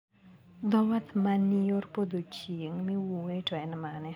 Dho wath ma ni yor podho chieng` miwuoye no en mane?